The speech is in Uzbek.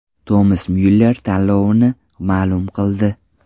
Tomas Myuller tanlovini ma’lum qildi.